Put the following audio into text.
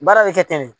Baara bɛ kɛ ten de